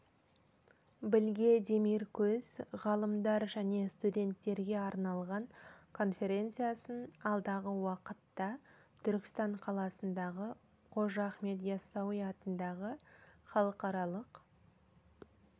білге демиркөз ғалымдар және студенттерге арналған конференциясын алдағы уақытта түркістан қаласындағы қожа ахмет ясауи атындағы халықаралық